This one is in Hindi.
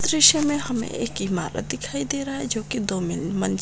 इस दृश्य मे हमे एक इमारत दिखाई दे रहा है जो की दो मिल मंज़िल--